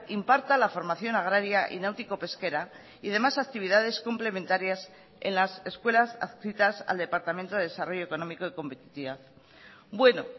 imparta la formación agraria y náutico pesquera y demás actividades complementarias en las escuelas adscritas al departamento de desarrollo económico y competitividad bueno